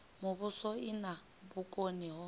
muvhuso i na vhukoni ho